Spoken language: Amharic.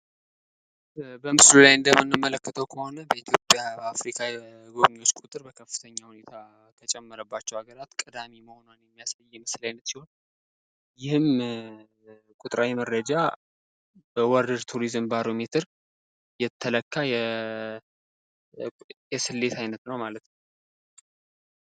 በምስሉ ላይ እንደምንመለከተው ከሆነ በኢትዮጵያ በአፍሪካ የጎብሚዎች ቁጥር በከፍተኛ ሁኔታ ከጨመረባቸው ሀገራት ቀዳሚ መሆኗን የሚያሳይ የምስል ዓይነት ሲሆን ይህም ቁጥራዊ መረጃ በወርልድ ቱሪዝም ባሮ ሜትር የተለካ የስሌት ዓይነት ነው ማለት ነው።